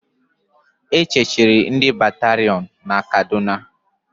E chechiri ndị batarion na Kaduna